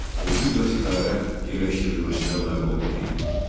Mühüm vəzifələrə yerləşdirilməsinə nail olmaq idi.